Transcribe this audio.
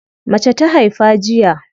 Mace ta haifa jiya.